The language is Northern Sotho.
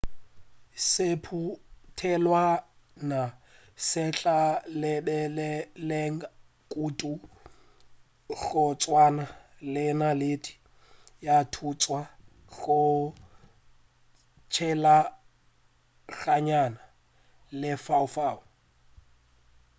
sephutelwana se tla lebelelega kudu go tswana le naledi ya thuntša go tshelaganya lefaufau